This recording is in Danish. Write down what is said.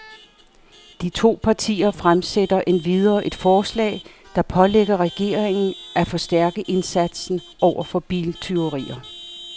De to partier fremsætter endvidere et forslag, der pålægger regeringen af forstærke indsatsen over for biltyverier.